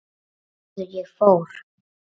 Og norður ég fór.